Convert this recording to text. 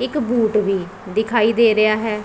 ਇੱਕ ਬੂਟ ਵੀ ਦਿਖਾਈ ਦੇ ਰਿਹਾ ਹੈ।